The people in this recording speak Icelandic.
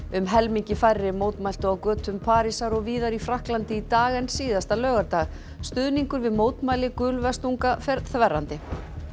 um helmingi færri mótmæltu á götum Parísar og víðar í Frakklandi í dag en síðasta laugardag stuðningur við mótmæli fer þverrandi